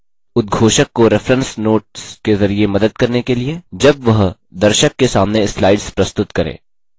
उद्घोषक को reference notes के ज़रिये मदद करने के लिए जब वह दर्शक के सामने slides प्रस्तुत करे